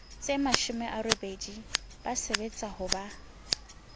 tsemashome a robedi ba sebetsahoba